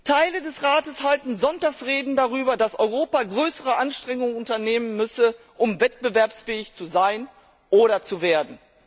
Teile des Rates halten Sonntagsreden darüber, dass Europa größere Anstrengungen unternehmen müsse, um wettbewerbsfähig zu sein oder zu werden.